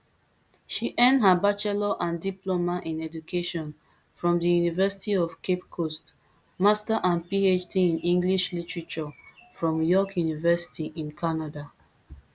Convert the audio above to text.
she earn her bachelor and diploma in education from di university of cape coast master and phd in english literature from york university in canada